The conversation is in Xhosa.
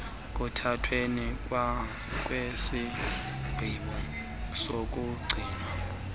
ekuthathweni kwesigqibo sokugcinwa